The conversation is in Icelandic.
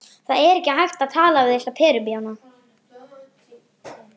Vinnufyrirkomulag sem gilt hefur í áratugi